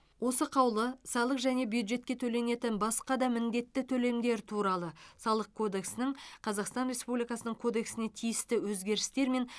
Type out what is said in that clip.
осы қаулы салық және бюджетке төленетін басқа да міндетті төлемдер туралы салық кодексінің қазақстан республикасының кодексіне тиісті өзгерістер мен